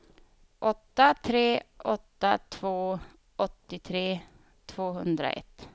åtta tre åtta två åttiotre tvåhundraett